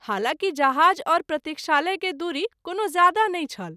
हलाँकि जहाज और प्रतिक्षालय के दूरी कोनो ज्यादा नहि छल।